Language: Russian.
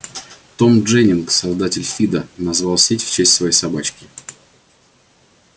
том дженнинг создатель фидо назвал сеть в честь своей собачки